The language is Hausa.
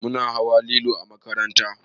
Muna hawa lilo a makaranta